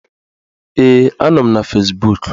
Ee, a nọ m na Fezbuk